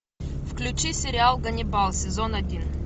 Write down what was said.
включи сериал ганнибал сезон один